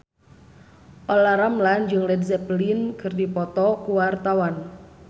Olla Ramlan jeung Led Zeppelin keur dipoto ku wartawan